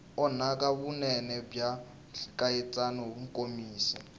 onhaka vunene bya nkatsakanyo nkomiso